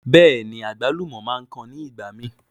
Bẹ́ẹ̀ni, àgbálùmọ̀ máa ń kan nígbàmi.